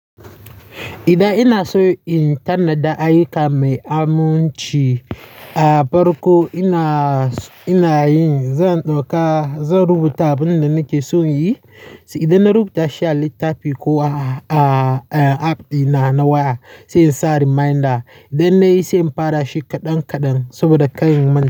Idan ina so in tanada ayyuka mai aminci, a farko ina, ina yin, zan ɗauka, zan rubuta abin da nake son yi. Idan na rubuta shi a littafi ko a, a, a app ɗina na waya sai in sa reminder. Idan na yi sai in fara shi kaɗan kaɗan saboda ka rin man.